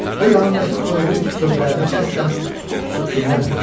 O yanındakı toyuğun sözlərini qəsdən pusub dinləmirdi.